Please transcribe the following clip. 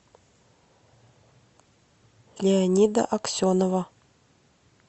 леонида аксенова